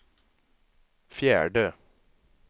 fjärde